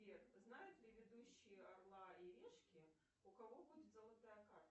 сбер знают ли ведущие орла и решки у кого будет золотая карта